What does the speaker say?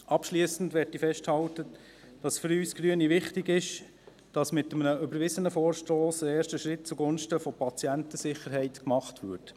Abschliessend möchte ich festhalten, dass es für uns Grüne wichtig ist, dass mit einem überwiesenen Vorstoss ein erster Schritt zugunsten der Patientensicherheit gemacht wird.